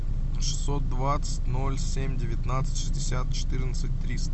шестьсот двадцать ноль семь девятнадцать шестьдесят четырнадцать триста